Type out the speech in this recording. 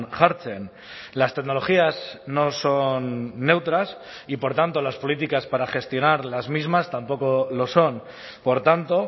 jartzen las tecnologías no son neutras y por tanto las políticas para gestionar las mismas tampoco lo son por tanto